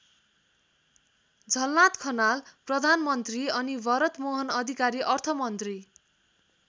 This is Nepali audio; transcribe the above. झलनाथ खनाल प्रधानमन्त्री अनि भरतमोहन अधिकारी अर्थमन्त्री।